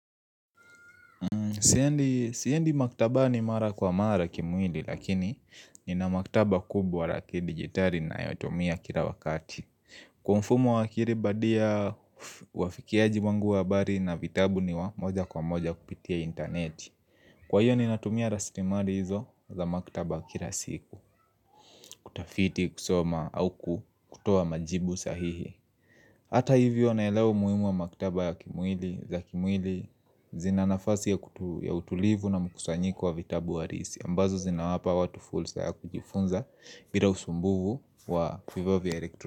Siendi maktabani mara kwa mara kimwili lakini nina maktaba kubwa ra kidigitali ninayotumia kila wakati. Kwa mfumo wa akiri badia uafikiaji wangu wa habari na vitabu ni wa moja kwa moja kupitia interneti. Kwa hiyo ninatumia rastimari hizo za maktaba kila siku kutafiti kusoma au kutuoa majibu sahihi. Hata hivyo naelewe umuhimu wa maktaba za kimwili zina nafasi ya utulivu na mukusanyiko wa vitabu arisi ambazo zinawapa watu fulsa ya kujifunza bila usumbufu wa vifaa vya elektroniki.